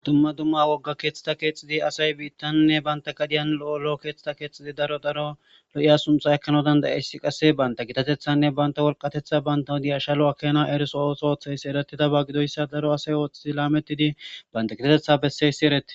Dumma dumma wogga keeththita keexxidi asay biittannne banta gadiyan lo7olo keetthita keexxidi daro daro lo7iya suntha ekkana dandayessi qasse banta gitatethanne banta wolqatetha banta diyashalo akena eriso os oothayssi erattidaba gidoyssa daro asay ooxxhidi laamettidi banta kitatetha besseyssi eratti.